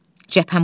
Cəbhəm budur.